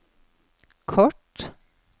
kort